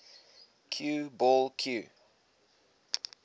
cue ball cue